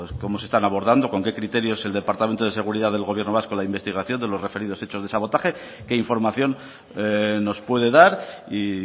cómo se están abordando con qué criterios el departamento de seguridad del gobierno vasco la investigación de los referidos hechos de sabotaje qué información nos puede dar y